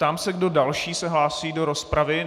Ptám se, kdo další se hlásí do rozpravy.